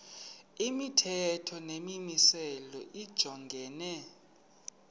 imithetho nemimiselo lijongene